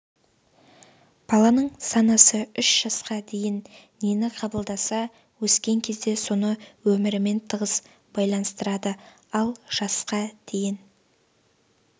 баланың санасы үш жасқа дейін нені қабылдаса өскен кезде соны өмірімен тығыз байланыстырады ал жасқа дейін